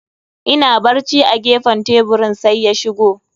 Ina barci a gefen teburin, sai ya shigo.